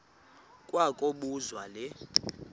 kwa kobuzwa le